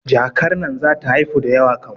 Jakar nan zata haifu da yawa kam